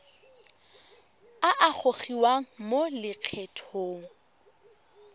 a a gogiwang mo lokgethong